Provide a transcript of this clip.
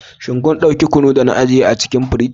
Shin kun dauki kunu da na ajiye a cikin firij?